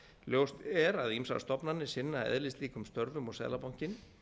ljóst er að ýmsar stofnanir sinna eðlislíkum störfum og seðlabankinn